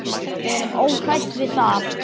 Við erum óhrædd við það.